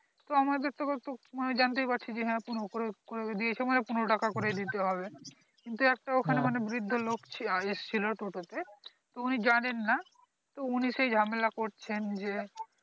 তো আমাদের তো, আনে জানতে ই পারছি যে হ্যাঁ পনেরো করে করে দিয়েছে মানে পনেরো টাকা করেই দিতে হবে কিন্তু একটা ওখানে মানে বৃদ্ধ লোক আহ এসছিল টোটোতে তো উনি জানেন না তো উনি সেই ঝামেলা করছেন যে